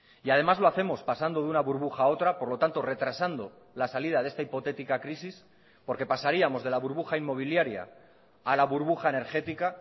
y además lo hacemos pasando de una burbuja a otra por lo tanto retrasando la salida de esta hipotética crisis porque pasaríamos de la burbuja inmobiliaria a la burbuja energética